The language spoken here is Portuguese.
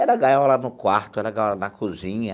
Era gaiola no quarto, era gaiola na cozinha,